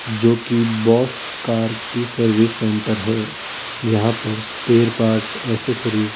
जो की बस कार की सर्विस सेंटर है यहां पर स्पेयर पार्ट्स एक्सेसरीस --